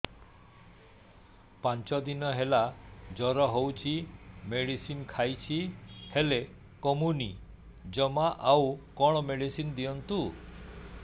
ପାଞ୍ଚ ଦିନ ହେଲା ଜର ହଉଛି ମେଡିସିନ ଖାଇଛି ହେଲେ କମୁନି ଜମା ଆଉ କଣ ମେଡ଼ିସିନ ଦିଅନ୍ତୁ